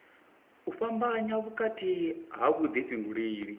u fhambanya vhukati ha vhuḓifhinduleli